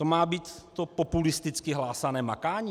To má být to populisticky hlásané makání?